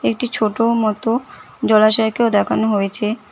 একটি ছোট মতো জলাশয়কেও দেখানো হয়েছে।